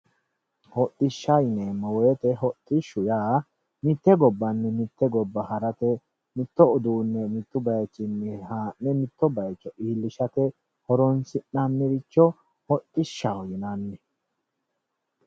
Hodishsha yineemmo woyte hodishshu yaa mite gobbanni mite gobba ha'rate, mitto uduune mitu bayichinni haa'ne mitto bayicho iillishate horonsi'nanniricho hodhishshaho yinnanni.